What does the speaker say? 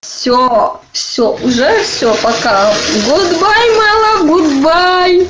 всё всё уже всё пока гудбай май лав гудбай